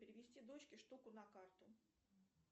перевести дочке штуку на карту